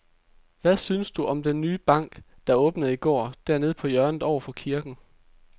Hvad synes du om den nye bank, der åbnede i går dernede på hjørnet over for kirken?